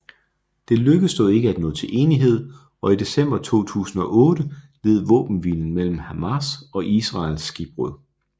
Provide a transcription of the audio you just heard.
Det lykkedes dog ikke at nå til enighed og i december 2008 led våbenhvilen mellem Hamas og Israel skibbrud